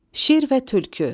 Şir və Tülkü.